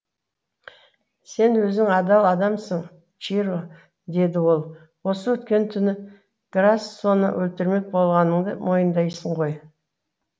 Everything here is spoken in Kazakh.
сен өзің адал адамсың чиро деді ол осы өткен түні грассоны өлтірмек болғаныңды мойындайсың ғой